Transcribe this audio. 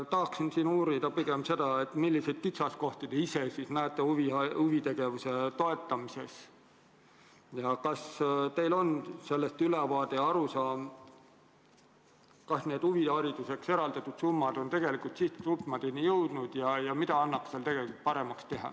Tahan uurida pigem seda, milliseid kitsaskohti te ise näete huvitegevuse toetamises ja kas teil on ülevaade ja arusaam, kas huvihariduseks eraldatud summad on tegelikult sihtgruppide kätte jõudnud, ja mida annaks paremaks teha.